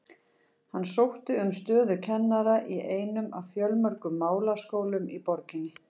Hann sótti um stöðu kennara í einum af fjölmörgum málaskólum í borginni.